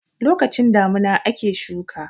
lokacin damina ake shuka